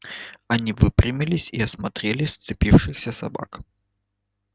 они выпрямились и осмотрели сцепившихся собак